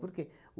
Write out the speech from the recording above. Por quê?